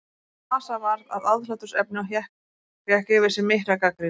NASA varð að aðhlátursefni og fékk yfir sig mikla gagnrýni.